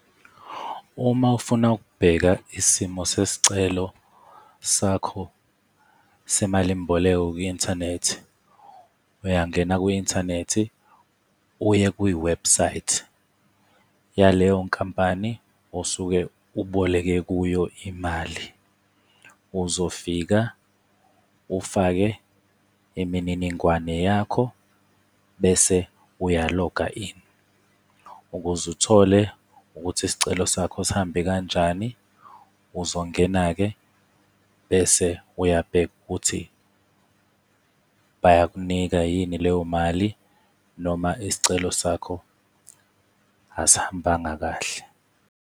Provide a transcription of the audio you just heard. Uma ufuna ukubheka isimo sesicelo sakho semalimboleko kwi-inthanethi, uyangena kwi-inthanethi uye kwiwebhusayithi yaleyo nkampani osuke uboleke kuyo imali. Uzofika ufake imininingwane yakho, bese uyaloga in. Ukuze uthole ukuthi isicelo sakho sihambe kanjani, uzongena-ke, bese uyabheka ukuthi bayakunika yini leyo mali, noma isicelo sakho asihambanga kahle.